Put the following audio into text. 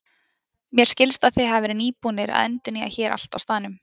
Mér skilst að þið hafið verið nýbúnir að endurnýja hér allt á staðnum?